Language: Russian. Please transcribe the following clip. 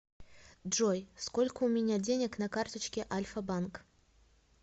джой сколько у меня денег на карточке альфабанк